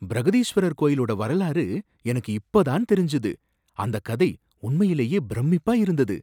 பிரகதீஸ்வரர் கோயிலோட வரலாறு எனக்கு இப்ப தான் தெரிஞ்சது, அந்தக் கதை உண்மையிலேயே பிரமிப்பா இருந்தது.